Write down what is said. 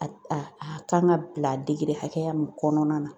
A a a kan ka bila degere hakɛya min kɔnɔna na.